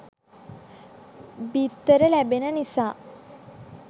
බිත්තර ලැබෙන නිසා